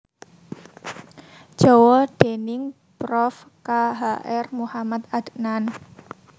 Jawa déning Prof K H R Muhamad Adnan